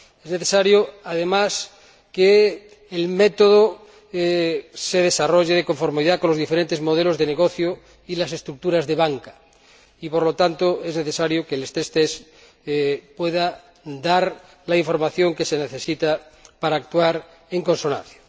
es necesario, además, que el método se desarrolle de conformidad con los diferentes modelos de negocio y las estructuras de banca y, por lo tanto, es necesario que las pruebas de resistencia puedan dar la información que se necesita para actuar en consonancia.